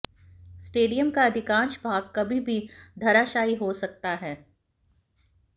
stadium का अधिकांश भाग कभी भी धराशायी हो सकता है